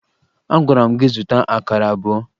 Agwara m gị zụta akara abụọ!